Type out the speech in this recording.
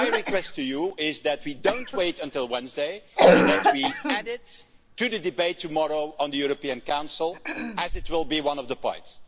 So my request to you is that we don't wait until Wednesday and that we add it to the debate on the European Council tomorrow, as it will be one of the points.